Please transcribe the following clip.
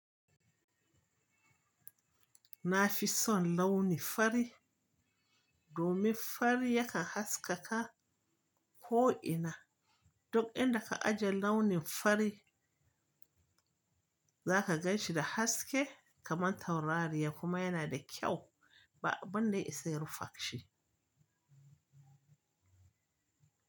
Na fi son launi fari. Domin fari yakan haskaka ko ina. Duk inda ka ajiye launin fari za ka gan shi da haske kamar taurariya, kuma yana da kyau ba abun da ya isa ya rufe shi.